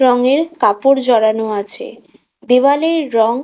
রংয়ের কাপড় ঝরানো আছে। দেয়ালের রং--